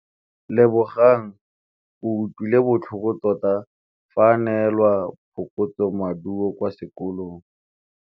Lebogang o utlwile botlhoko tota fa a neelwa phokotsômaduô kwa sekolong.